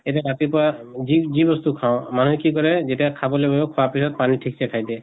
এতিয়া ৰাতিপুৱা যি যি বস্তু খাওঁ, মানুহে কি কৰে যেতিয়া খাবলৈ বহিব, খোৱা পিছত পানী ঠিক্ছে খাই দিয়ে